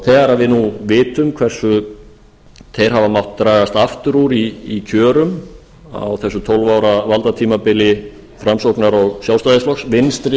þegar nú við vitum hversu þeir hafa mátt dragast aftur úr í kjörum á þessu tólf ára valdatímabili framsóknar og sjálfstæðisflokks vinstri